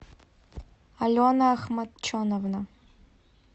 алена ахматченовна